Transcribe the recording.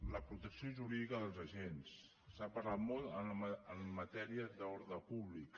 la protecció jurídica dels agents s’ha parlat molt en matèria d’ordre públic